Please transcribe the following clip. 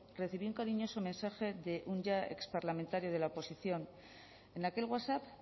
recibió un cariñoso mensaje de un ya exparlamentario de la oposición en aquel wasap